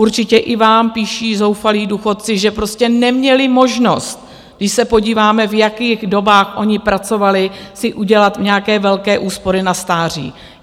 Určitě i vám píší zoufalí důchodci, že prostě neměli možnost - když se podíváme, v jakých dobách oni pracovali - si udělat nějaké velké úspory na stáří.